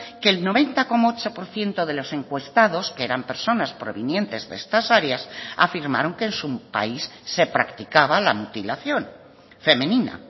que el noventa coma ocho por ciento de los encuestados que eran personas provenientes de estas áreas afirmaron que en su país se practicaba la mutilación femenina